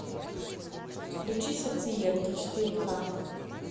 включи сердцеедки четыре ка